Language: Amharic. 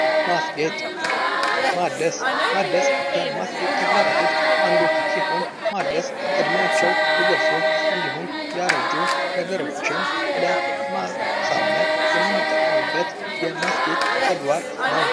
ማስጌጥ ማደስ ከማስጌጥ ተግባራቶች ውስጥ አንዱ ሲሆን ማደስ እድሜያቸው የገፉ እንዲሁም ያረጁ ነገሮችን ለማሳመር የምንጠቀምበት የማስጌ ተግባር ነው ።